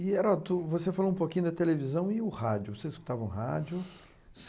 E, Heródoto, você falou um pouquinho da televisão e o rádio, vocês escutavam rádio?